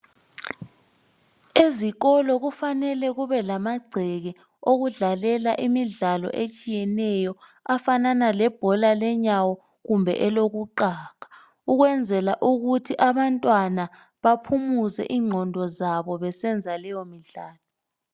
Ezikolo kufanele kube lamagceke okudlalela imidlalo etshiyeneyo afanana lebhola lenyawo kumbe elokuqaga, ukwenzela ukuthi abantwana baphumuze ingqondo zabo besenza leyo midlalo.